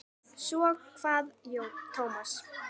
Svo kvað Tómas.